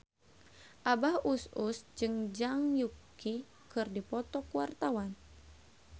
Abah Us Us jeung Zhang Yuqi keur dipoto ku wartawan